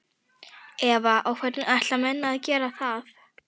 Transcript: Eva: Og hvernig ætla menn að gera það?